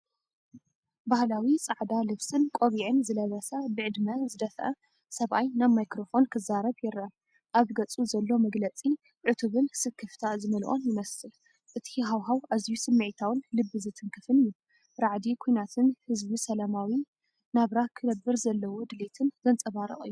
ባህላዊ ጻዕዳ ልብስን ቆቢዕን ዝለበሰ ብዕድመ ዝደፍአ ሰብኣይ ናብ ማይክሮፎን ክዛረብ ይረአ። ኣብ ገጹ ዘሎ መግለጺ ዕቱብን ስክፍታ ዝመልኦን ይመስል። እቲ ሃዋህው ኣዝዩ ስምዒታውን ልቢ ዝትንክፍን እዩ። ራዕዲ ኲናትን ህዝቢ ሰላማዊ ናብራ ክነብር ዘለዎ ድሌትን ዘንጸባርቕ እዩ።